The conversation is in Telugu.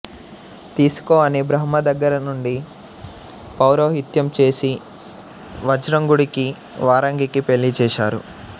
తీసుకో అని బ్రహ్మ దగ్గరుండి పౌరోహిత్యం చేసి వజ్రాంగుడికి వరాంగికి పెళ్ళిచేశారు